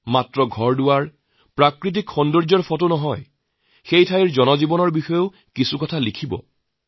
কেৱল তাৰ স্মৃতি বা স্থাপত্য প্ৰাকৃতিক সৌন্দৰ্যই নহয় তাৰ জন জীৱনৰ সম্পৰ্কও দুআষাৰ কথা লিখক